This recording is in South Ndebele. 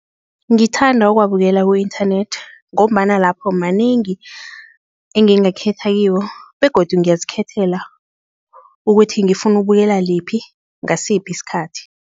Ngithanda ukuwabukela ku-internet ngombana lapho manengi engingakhetha kiwo begodu ngiyazikhethela ukuthi ngifuna ubukela liphi, ngasiphi isikhathi.